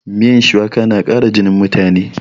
Miyan shuwaka na ƙara jinin mutane